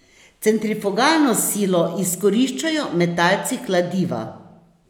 Centrifugalno silo izkoriščajo metalci kladiva.